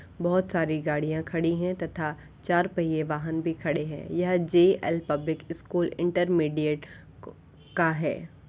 बहुत सारी गाड़ियां खड़ी है तथा चार पहिये वाहन भी खड़े है। यह जेएल पब्लिक स्कूल इंटरमीडिएट का है।